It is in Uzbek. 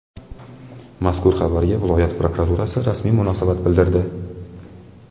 Mazkur xabarga viloyat prokuraturasi rasmiy munosabat bildirdi.